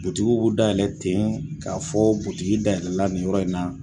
Butigiw b'u dalayɛlɛn ten, k'a fɔ butigi dayɛlɛla nin yɔrɔ in na,